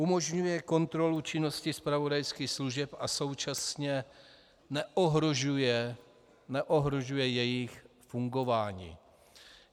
Umožňuje kontrolu činnosti zpravodajských služeb a současně neohrožuje jejich fungování.